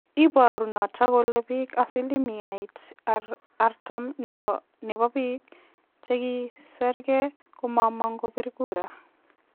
Ibooru niton kole biik asilimiait 40 nebo biik chegisirgei komomog' kobir kura.